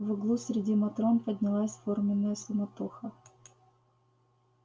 в углу среди матрон поднялась форменная суматоха